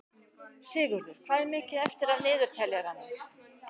Sigurður, hvað er mikið eftir af niðurteljaranum?